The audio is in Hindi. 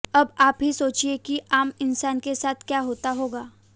अब आप ही सोचिए कि आम इंसान के साथ क्या होता होगा